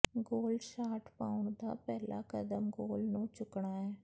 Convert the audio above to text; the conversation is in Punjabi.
ਗੋਲ ਸ਼ਾਟ ਪਾਉਣ ਦਾ ਪਹਿਲਾ ਕਦਮ ਗੋਲ ਨੂੰ ਚੁੱਕਣਾ ਹੈ